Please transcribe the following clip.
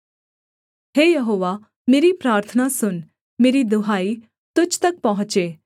हे यहोवा मेरी प्रार्थना सुन मेरी दुहाई तुझ तक पहुँचे